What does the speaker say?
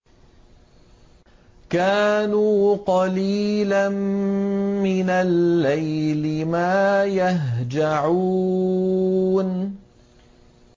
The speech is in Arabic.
كَانُوا قَلِيلًا مِّنَ اللَّيْلِ مَا يَهْجَعُونَ